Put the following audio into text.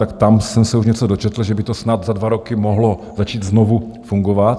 Tak tam jsem se už něco dočetl, že by to snad za dva roky mohlo začít znovu fungovat.